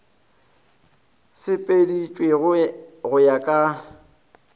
e sepeditšwe go ya ka